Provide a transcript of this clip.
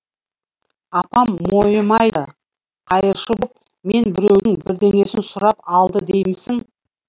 апам мойымайды қайыршы боп мен біреудің бірдеңесін сұрап алды деймісің